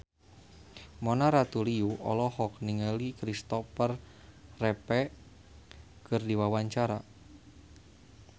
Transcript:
Mona Ratuliu olohok ningali Kristopher Reeve keur diwawancara